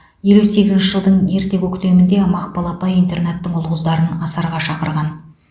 елу сегізінші жылдың ерте көктемінде мақпал апай интернаттың ұл қыздарын асарға шақырған